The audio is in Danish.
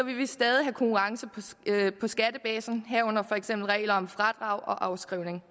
vi stadig have konkurrence på skattebasen herunder for eksempel regler om fradrag og afskrivning